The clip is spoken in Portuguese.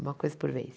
Uma coisa por vez.